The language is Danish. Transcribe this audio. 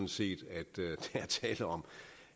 set at der er tale om